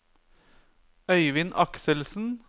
Øivind Akselsen